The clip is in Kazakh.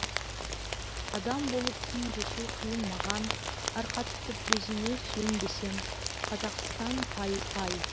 адам болып күн кешу қиын маған арқа тұтып өзіңе сүйенбесем қазақстан пай пай